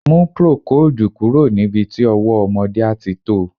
Mú procoldù kúrò níbi tí ọwọ́ ọmọdé àti to.